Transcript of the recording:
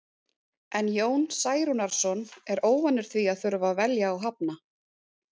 En Jón Særúnarson er óvanur því að þurfa að velja og hafna.